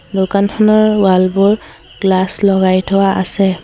দোকানখনৰ ৱাল বোৰ গ্লাচ লগাই থোৱা আছে।